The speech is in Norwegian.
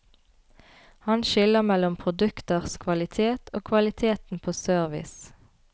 Han skiller mellom produkters kvalitet og kvaliteten på service.